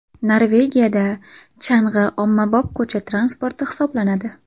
Norvegiyada chang‘i ommabop ko‘cha transporti hisoblanadi.